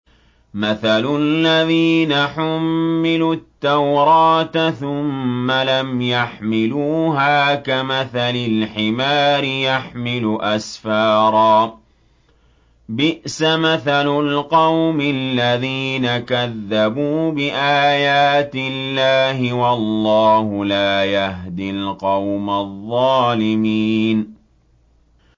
مَثَلُ الَّذِينَ حُمِّلُوا التَّوْرَاةَ ثُمَّ لَمْ يَحْمِلُوهَا كَمَثَلِ الْحِمَارِ يَحْمِلُ أَسْفَارًا ۚ بِئْسَ مَثَلُ الْقَوْمِ الَّذِينَ كَذَّبُوا بِآيَاتِ اللَّهِ ۚ وَاللَّهُ لَا يَهْدِي الْقَوْمَ الظَّالِمِينَ